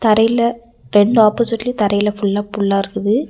தரையில ரெண்டு ஆப்போசிட்லையும் தரையில ஃபுல்லா புல்லா இருக்குது.